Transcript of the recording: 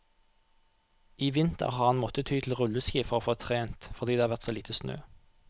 I vinter har han måttet ty til rulleski for å få trent, fordi det har vært så lite snø.